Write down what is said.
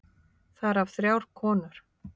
Þar af þrjár konur.